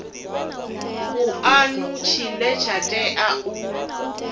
vhuanu tshine tsha tea u